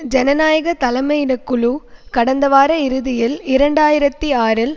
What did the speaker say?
ஜனநாயக தலைமையிடக்குழு கடந்த வார இறுதியில் இரண்டு ஆயிரத்தி ஆறில்